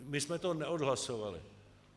My jsme to neodhlasovali.